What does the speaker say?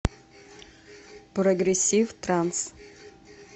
прогрессив транс